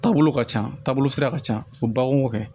Taabolo ka ca taabolo sira ka ca u bakun kɛ